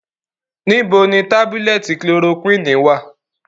Nibo ni tabulẹti kilorokwini wa?